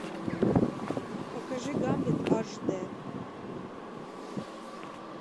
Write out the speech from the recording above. покажи гамлет аш д